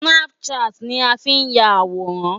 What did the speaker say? Snapchat ni a fi ń ya àwòrán.